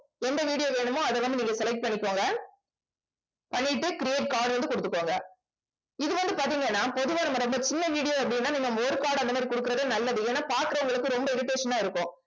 எந்த video வேணுமோ அதை வந்து நீங்க select பண்ணிக்கோங்க பண்ணிட்டு creat card வந்து கொடுத்துக்கோங்க இது வந்து பார்த்தீங்கன்னா பொதுவா நம்ம ரொம்ப சின்ன video அப்படின்னா நீங்க card அந்த மாதிரி கொடுக்கிறது நல்லது ஏன்னா பாக்குறவங்களுக்கு ரொம்ப irritation ஆ இருக்கும்.